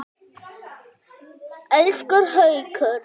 Elsku Haukur!